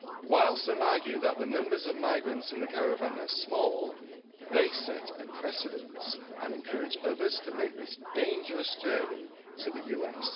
While some argue that the numbers of migrants in the caravan are small, they set a precedent and encourage others to make this dangerous journey to the US.